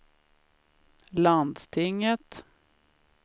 landstinget